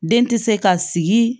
Den tɛ se ka sigi